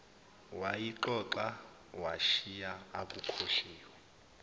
wayixoxa washiya akukhohliwe